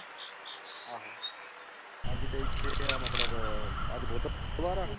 ਆਹੋ ਅੱਜ ਤੇ ਇੱਥੇ ਆ ਮਤਲਬ ਅੱਜ ਬੁੱਧਵਾਰ ਆ।